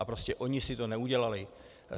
A prostě oni si to neudělali.